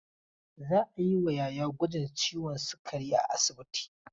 Za a yi wa Yahaya gwajin ciwon sikari a asibiti.